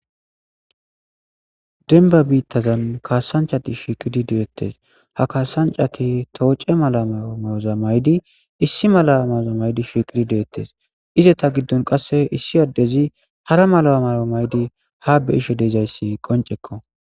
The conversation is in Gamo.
Denba bizan kasachati shiiqi detese ha kasachati toce mala mayo mayoza mayidi issi mala mayo shiiqi detese izeta gidon qase issi adezi hara mala mayo mayidi ha be'ashe dizaysa qoncekko